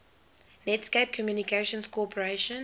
netscape communications corporation